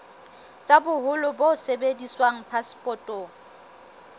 tsa boholo bo sebediswang phasepotong